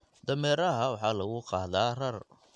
Dameeraha waxa lagu qaadaa rar.